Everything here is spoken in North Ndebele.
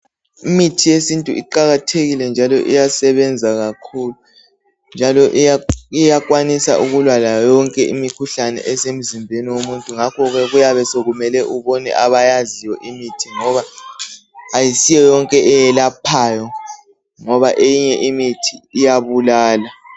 Imithi yesintu iqakathekile , iyabenza kakhulu njalo iyakwanisa ukulwa layo yonke imikhuhlane esemzimbeni womuntu. Kuyabe sokumele ubone abayaziyo ngoba akusiyoyonke eyelaphayo eminye iyabulala.